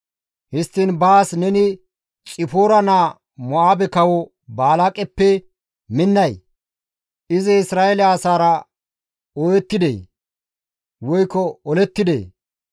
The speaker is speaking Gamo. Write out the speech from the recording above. Histtiin baas neni Xipoora naa Mo7aabe kawo Balaaqeppe minnay? Izi Isra7eele asaara ooyettidee? Woykko olettidee?